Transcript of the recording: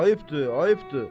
Ayıbdır, ayıbdır.